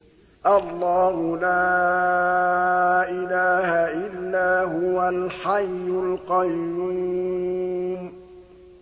اللَّهُ لَا إِلَٰهَ إِلَّا هُوَ الْحَيُّ الْقَيُّومُ